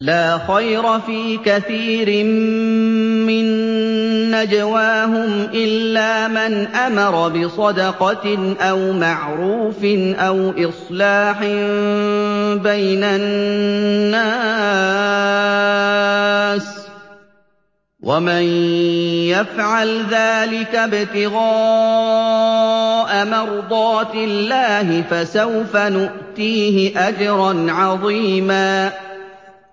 ۞ لَّا خَيْرَ فِي كَثِيرٍ مِّن نَّجْوَاهُمْ إِلَّا مَنْ أَمَرَ بِصَدَقَةٍ أَوْ مَعْرُوفٍ أَوْ إِصْلَاحٍ بَيْنَ النَّاسِ ۚ وَمَن يَفْعَلْ ذَٰلِكَ ابْتِغَاءَ مَرْضَاتِ اللَّهِ فَسَوْفَ نُؤْتِيهِ أَجْرًا عَظِيمًا